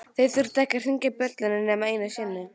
Þeir þurftu ekki að hringja bjöllunni nema einu sinni.